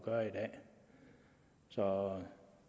og